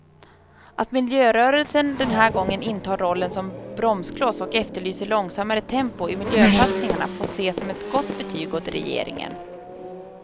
Att miljörörelsen den här gången intar rollen som bromskloss och efterlyser långsammare tempo i miljösatsningarna får ses som ett gott betyg åt regeringen.